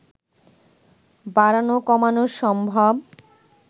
বাড়ানো কমানো সম্ভব